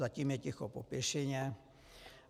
Zatím je ticho po pěšině.